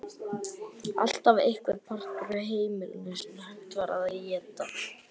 Alltaf einhver partur af heimilinu sem hægt var að éta.